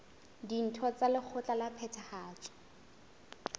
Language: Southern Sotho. ditho tsa lekgotla la phethahatso